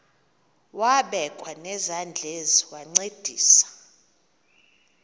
wabekwa nezandls wancedisa